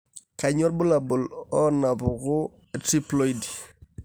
Kainyio irbulabul onaapuku eTriploidy?